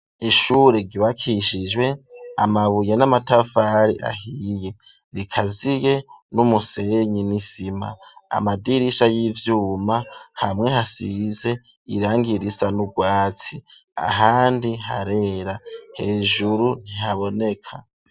Ishure ryubakishijwe amabuye n'amatafari ahiye rikaziye n'umusenyi n'isima amadirisha y'ivyuma hamwe hasize irangi risa n'ubwatsi ahandi harera hejuru ntihaboneka.